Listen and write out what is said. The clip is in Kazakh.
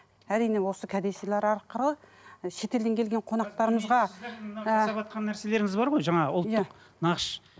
әрине осы кәдесыйлар арқылы шетелден келген қонақтарымызға жасаватқан нәрселеріңіз бар ғой жаңағы иә ұлттық нақыш